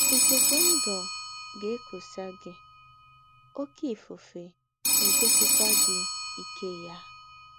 Ìkùkù̄ ndū̄ gà - èkùsà gị, òké ìfùfè ègòsịkwà gị íké yà.